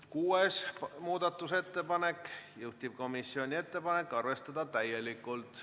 Kuues muudatusettepanek, juhtivkomisjoni ettepanek: arvestada täielikult.